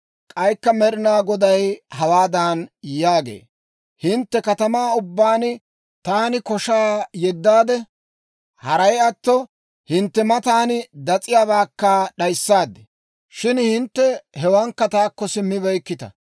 K'aykka Med'inaa Goday hawaadan yaagee; «Hintte katamaa ubbaan taani koshaa yeddaade, haray atto hintte matan das'iyaabaakka d'ayissaad; shin hintte hewaankka taakko simmibeykkita.